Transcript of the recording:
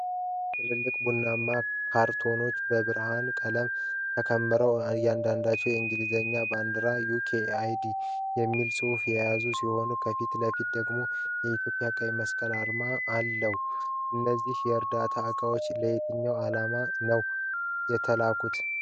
ትልልቅ ቡናማ ካርቶኖች በበርካታ ቁልል ተከምረው ፣ አንዳንዶቹ የእንግሊዝን ባንዲራና "UK aid" የሚል ጽሑፍ የያዙ ሲሆን፣ ከፊት ለፊት ደግሞ የኢትዮጵያ ቀይ መስቀል አርማ አለው። እነዚህ የዕርዳታ እቃዎች ለየትኛው ዓላማ ነው የተላኩት?